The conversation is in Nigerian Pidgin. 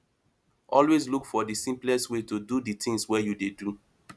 always look for the simplest way to do the things wey you dey do